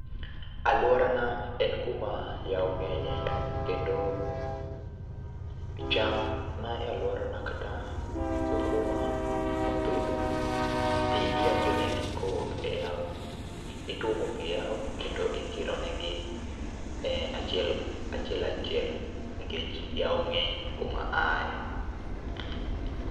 Alworana en kuma yao ng'enye, kendo cham ma e alworana kata sikuma mopidh, pi onjo negi kowuok e yao. Ituomo pi e yao kendo ikironegi e achiel achiel achiel, nikech yao ng'eny kuma aaye.